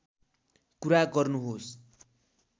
कुरा गर्नुहोस्